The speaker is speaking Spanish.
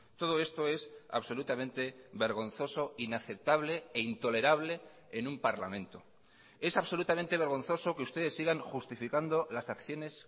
todo esto es absolutamente vergonzoso inaceptable e intolerable en un parlamento es absolutamente vergonzoso que ustedes sigan justificando las acciones